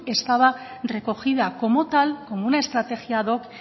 estaban recogida como tal como una estrategia ad hoc